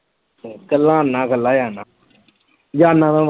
ਇਕੱਲਾ ਆਉਨਾ ਇਕੱਲਾ ਜਾਨਾ, ਜਾਨਾ ਮੈਂ